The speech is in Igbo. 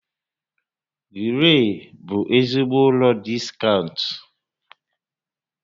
Gree bụ ezigbo ụlọ diskaụnt